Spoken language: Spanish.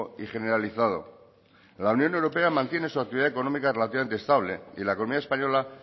y generalizado la unión europea mantiene su actividad económica relativamente estable y la economía española